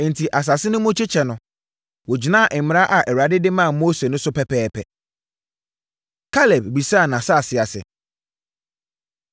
Enti, asase no mu kyekyɛ no, wɔgyinaa mmara a Awurade de maa Mose no so pɛpɛɛpɛ. Kaleb Bisaa Nʼasase Ase